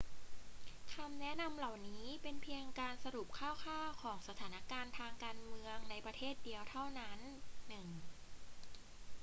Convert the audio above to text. คำแนะนำเหล่านั้นเป็นเพียงการสรุปคร่าว ๆ ของสถานการณ์ทางการเมืองในประเทศเดียวเท่านั้น 1